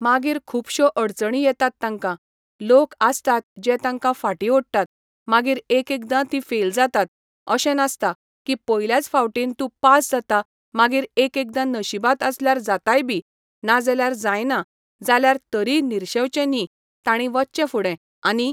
मागीर खुबशो अडचणी येतात तांकां, लोक आसतात जें तांकां फाटी ओडटात मागीर एकएकदां तीं फेल जातात अशें नासता की पयल्याच फावटीन तूं पास जाता मागीर एक एकदां नशिबांत आसल्यार जाताय बी नाजाल्यार जायना जाल्यार तरीय निर्शेवचें न्ही तांणी वचचें फुडें आनी